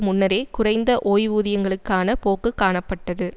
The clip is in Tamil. முன்னரே குறைந்த ஓய்வுதியங்களுக்கான போக்கு காணப்பட்டது